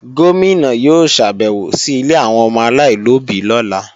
Gómìnà yóò ṣàbèwò sí ilé àwọn ọmọ aláìlóbí lọ́la